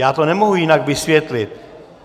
Já to nemohu jinak vysvětlit.